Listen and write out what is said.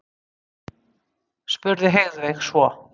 spurði Heiðveig svo.